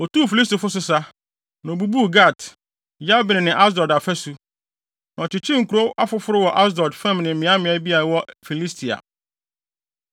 Otuu Filistifo so sa, na obubuu Gat, Yabne ne Asdod afasu. Na ɔkyekyeree nkurow afoforo wɔ Asdod fam ne mmeaemmeae bi a ɛwɔ Filistia.